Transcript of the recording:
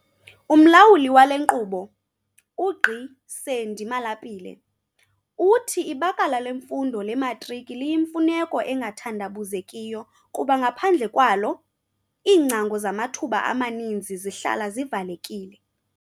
UMlawuli wale nkqubo, uGqi Sandy Malapile, uthi ibakala lemfundo lematriki liyimfuneko engathandabuzekiyo kuba ngaphandle kwalo, iingcango zamathuba amaninzi zihlala zivalekile.